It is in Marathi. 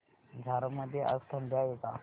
झारप मध्ये आज थंडी आहे का